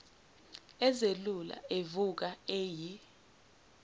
ezelula evuka eyi